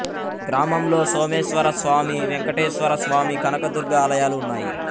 గ్రామంలో సోమేశ్వర స్వామి వేంకటేశ్వర స్వామి కనకదుర్గ ఆలయాలు ఉన్నాయి